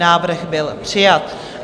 Návrh byl přijat.